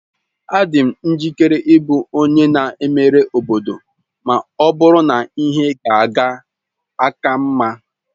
Adị m njikere ịbụ onye na-emere obodo ma ọ bụrụ na ihe ga-aka mma.